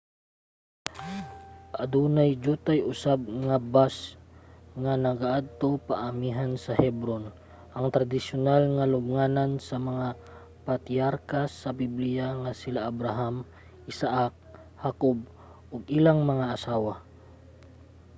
adunay diyutay usab nga bus ang nagaadto paamihan sa hebron ang tradisyonal nga lubnganan sa mga patriarka sa bibliya nga sila abraham isaak hakob ug ilang mga asawa